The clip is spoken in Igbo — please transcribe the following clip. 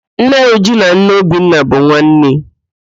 Nne Uju na nne Obinna bụ nwanne